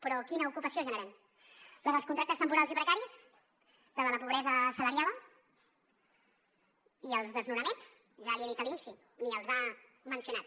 però quina ocupació generem la dels contractes temporals i precaris la de la pobresa assalariada i els desnonaments ja l’hi he dit a l’inici ni els ha mencionat